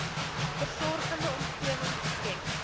versorgende omgewing geskep